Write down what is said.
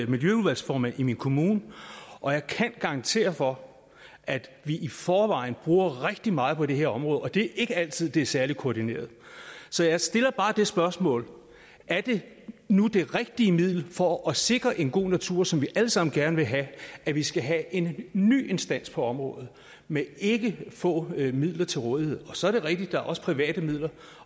miljøudvalgsformand i min kommune og jeg kan garantere for at vi i forvejen bruger rigtig meget på det her område og det er ikke altid at det er særlig koordineret så jeg stiller bare det spørgsmål er det nu det rigtige middel for at sikre en god natur som vi alle sammen gerne vil have at vi skal have en ny instans på området med ikke få midler til rådighed så er det rigtigt at der også er private midler